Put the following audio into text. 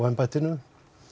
embættinu